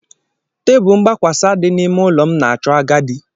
Tebụl mgbakwasa dị n'ime ụlọ m na-achọ agadi.